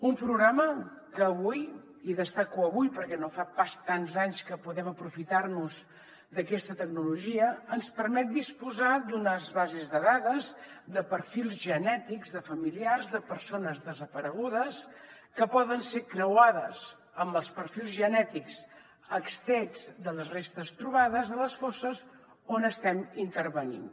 un programa que avui i destaco avui perquè no fa pas tants anys que podem aprofitar nos d’aquesta tecnologia ens permet disposar d’unes bases de dades de perfils genètics de familiars de persones desaparegudes que poden ser creuades amb els perfils genètics extrets de les restes trobades a les fosses on estem intervenint